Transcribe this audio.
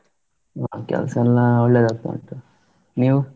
ಹಾ ಕೆಲಸ ಎಲ್ಲಾ ಒಳ್ಳೆದಾಗ್ತಾ ಉಂಟು, ನೀವು?